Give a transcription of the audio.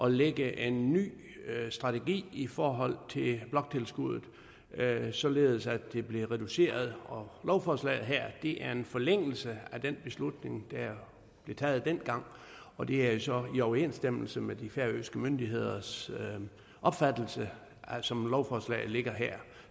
at lægge en ny strategi i forhold til bloktilskuddet således at det blev reduceret og lovforslaget her er en forlængelse af den beslutning der blev taget dengang og det er jo så i overensstemmelse med de færøske myndigheders opfattelse som lovforslaget ligger her